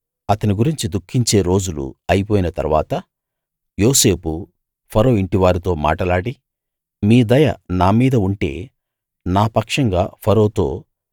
అతని గురించి దుఃఖించే రోజులు అయిపోయిన తరువాత యోసేపు ఫరో ఇంటి వారితో మాటలాడి మీ దయ నా మీద ఉంటే నా పక్షంగా ఫరోతో